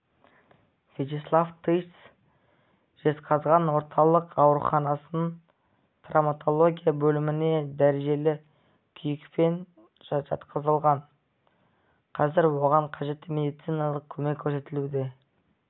вячеслав тыц жезқазған орталық ауруханасының травматология бөліміне дәрежелі күйікпен жатқызылған қазір оған қажетті медициналық көмек көрсетілуде